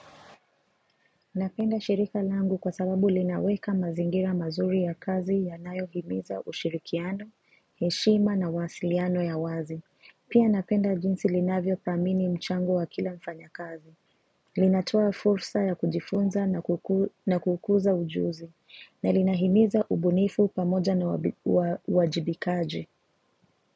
Napenda shirika langu kwa sababu linaweka mazingira mazuri ya kazi ya nayo himiza ushirikiano, heshima na wasiliano ya wazi. Pia napenda jinsi linavyo dhamini mchango wa kila mfanya kazi. Linatoa fursa ya kujifunza na kukuza ujuzi. Na lina himiza ubunifu pamoja na uwajibikaji.